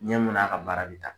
Ɲɛ mun n'a ka baara be taa